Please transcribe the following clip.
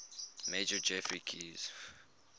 major geoffrey keyes